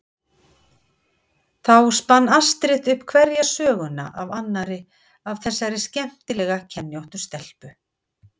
Og þá spann Astrid upp hverja söguna af annarri af þessari skemmtilega kenjóttu stelpu.